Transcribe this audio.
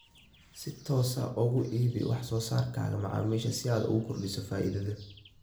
Si toos ah uga iibi wax soo saarkaaga macaamiisha si aad u kordhiso faa'iidada